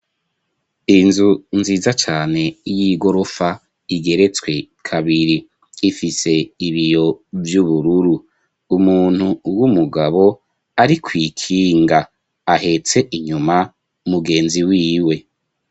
Inzu nziza cane y'igorofa igeretswe kabiri, ifise ibiyo vy'ubururu, umuntu w'umugabo ari kw'ikinga ahetse inyuma mugenzi wiwe.